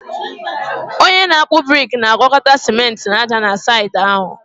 onye na-akpụ brik na-agwakọta ciment na ájá na saịtị ahụ